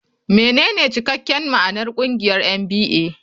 Menene cikakken ma'anar ƙungiyar NBA?